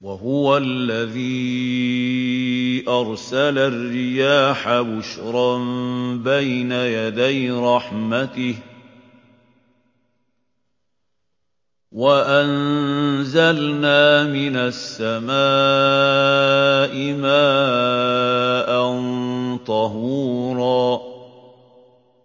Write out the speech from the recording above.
وَهُوَ الَّذِي أَرْسَلَ الرِّيَاحَ بُشْرًا بَيْنَ يَدَيْ رَحْمَتِهِ ۚ وَأَنزَلْنَا مِنَ السَّمَاءِ مَاءً طَهُورًا